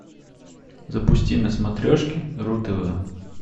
запусти на смотрешке ру тв